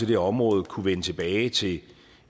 her område kunne vende tilbage til